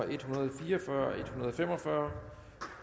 en hundrede og fire og fyrre l en hundrede og fem og fyrre